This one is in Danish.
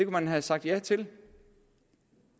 man have sagt ja til